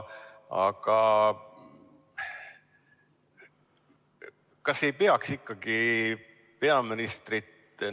Kas ei peaks ikkagi peaministrit veel kutsuma?